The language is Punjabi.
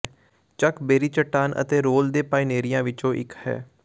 ਚੱਕ ਬੇਰੀ ਚੱਟਾਨ ਅਤੇ ਰੋਲ ਦੇ ਪਾਇਨੀਅਰਾਂ ਵਿੱਚੋਂ ਇੱਕ ਹੈ